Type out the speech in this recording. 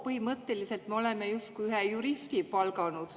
Põhimõtteliselt me oleme sinna justkui ühe juristi palganud.